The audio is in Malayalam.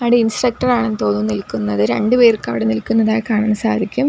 അവിടെ ഇൻസ്ട്രക്ടർ ആണെന്ന് തോന്നുന്നു നിൽക്കുന്നത് രണ്ടുപേർക്കവിടെ നിൽക്കുന്നതായി കാണാൻ സാധിക്കും.